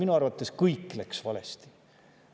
Minu arvates kõik läks valesti.